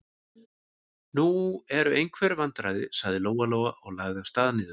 Nú eru einhver vandræði, sagði Lóa-Lóa og lagði af stað niður.